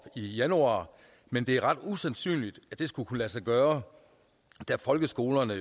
i januar men det er ret usandsynligt at det skulle kunne lade sig gøre da folkeskolerne